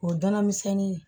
O danamisɛnnin